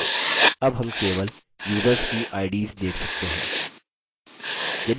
अब हम केवल युसर्स की ids देख सकते हैं